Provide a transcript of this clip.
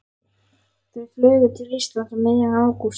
Þau flugu til Íslands um miðjan ágúst.